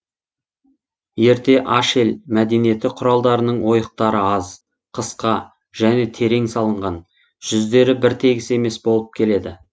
ерте ашель мәдениеті құралдарының ойықтары аз қысқа және терең салынған жүздері біртегіс емес болып келеді